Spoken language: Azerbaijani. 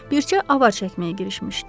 Bircə avar çəkməyə girişmişdilər.